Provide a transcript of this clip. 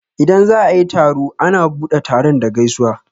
Idan za'a yi taro a na buɗe taron da gaisuwa.